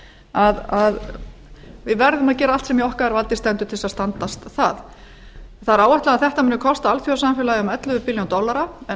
og hreinlætisaðstöðu við verðum að gera allt sem í okkar valdi stendur til þess að standast það það er áætlað að þetta muni kosta alþjóðasamfélagið um ellefu billjón dollara en